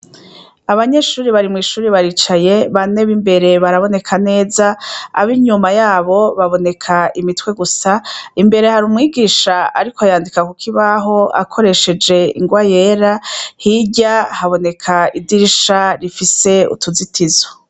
Abanyeshure bari mwishure baricaye, bane b'imbere baraboneka neza, ab'inyuma yabo baboneka imitwe gusa, imbere hari umwigisha ariko yandika ku kibaho akoresheje ingwa yera, hirya haboneka idirisha rifise utuzitizo.